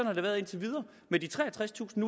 har det været indtil videre med de treogtredstusind